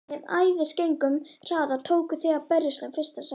Með æðisgengnum hraða tókuð þið að berjast um fyrsta sætið.